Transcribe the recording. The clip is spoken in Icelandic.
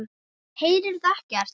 Heyrðuð ekkert?